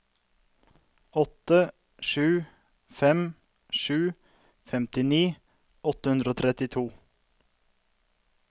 åtte sju fem sju femtini åtte hundre og trettito